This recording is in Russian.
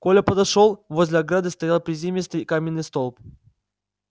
коля подошёл возле ограды стоял приземистый каменный столб